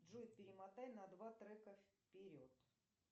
джой перемотай на два трека вперед